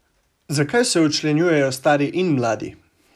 Zakaj se včlanjujejo stari in mladi?